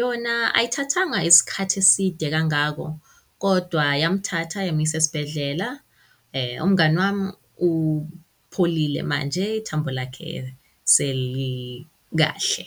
Yona ayithathanga isikhathi eside kangako kodwa yamthatha yamuyisa esibhedlela. Umngani wami upholile manje, ithambo lakhe selikahle.